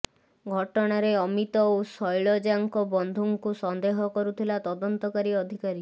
ଘଟଣାରେ ଅମିତ ଓ ଶୈଳଜାଙ୍କ ବନ୍ଧୁଙ୍କୁ ସନ୍ଦେହ କରୁଥିଲା ତଦନ୍ତକାରୀ ଅଧିକାରୀ